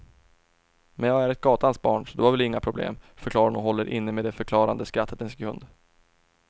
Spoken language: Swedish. Men jag är ett gatans barn så det var väl inga problem, förklarar hon och håller inne med det förklarande skrattet en sekund.